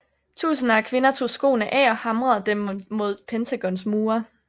Tusinder af kvinder tog skoene af og hamrede dem mod Pentagons mure